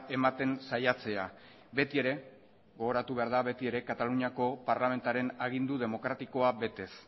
ematen saiatzea betiere gogoratu behar da betiere kataluniako parlamentuaren agindu demokratikoa betez